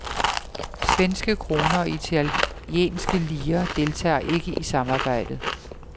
Svenske kroner og italienske lire deltager ikke i samarbejdet.